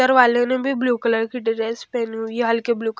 र वाले ने भी ब्लू कलर की ड्रेस पहनी हुई है हल्की ब्लू --